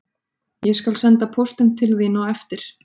Ég skal senda póstinn til þín á eftir